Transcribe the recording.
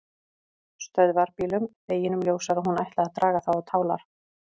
Stöðvarbílum, deginum ljósara að hún ætlaði að draga þá á tálar.